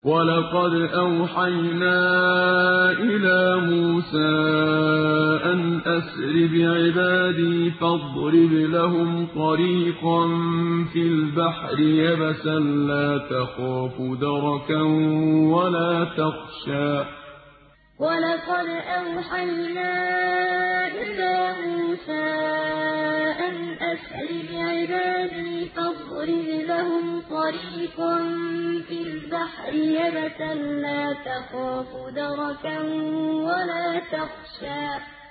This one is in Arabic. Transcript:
وَلَقَدْ أَوْحَيْنَا إِلَىٰ مُوسَىٰ أَنْ أَسْرِ بِعِبَادِي فَاضْرِبْ لَهُمْ طَرِيقًا فِي الْبَحْرِ يَبَسًا لَّا تَخَافُ دَرَكًا وَلَا تَخْشَىٰ وَلَقَدْ أَوْحَيْنَا إِلَىٰ مُوسَىٰ أَنْ أَسْرِ بِعِبَادِي فَاضْرِبْ لَهُمْ طَرِيقًا فِي الْبَحْرِ يَبَسًا لَّا تَخَافُ دَرَكًا وَلَا تَخْشَىٰ